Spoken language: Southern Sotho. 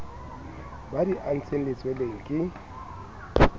ba di antseng letsweleng ke